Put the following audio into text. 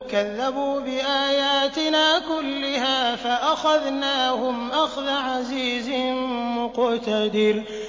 كَذَّبُوا بِآيَاتِنَا كُلِّهَا فَأَخَذْنَاهُمْ أَخْذَ عَزِيزٍ مُّقْتَدِرٍ